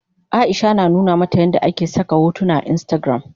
Aisha na nuna mata yadda ake saka hotuna a instagram.